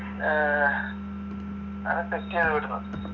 അഹ് അതൊക്കയാ വരുന്നത്